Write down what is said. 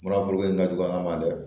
Mura foro kelen ka jugu an ma dɛ